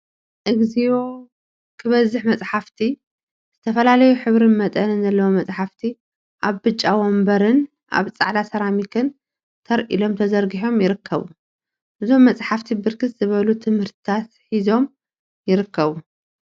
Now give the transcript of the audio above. እግዚኦ! ክበዝሕ መፃሕፍቲ ዝተፈላለዩ ሕብሪን መጠንን ዘለዎም መፃሕፍቲ አብ ብጫ ወንበርን አብ ፃዕዳ ሰራሚክን ተር ኢሎም ተዘርጊሖም ይርከቡ፡፡ እዞም መፃሕፍቲ ብርክት ዝበሉ ትምህርትታት ሒዞም ይርከቡ፡፡